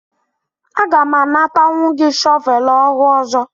Aga m anatanwu gị shọvel ọhụụ ọzọ?